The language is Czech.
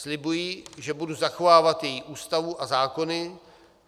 Slibuji, že budu zachovávat její Ústavu a zákony.